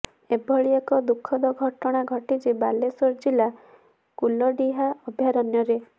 ଏଭଳି ଏକ ଦୁଃଖଦ ଘଟଣା ଘଟିଛି ବାଲେଶ୍ୱର ଜିଲ୍ଲା କୁଲଢିହା ଅଭୟାରଣ୍ୟରେ